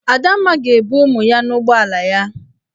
Adamma ga-ebu ụmụ ya n'ụgbọala ya.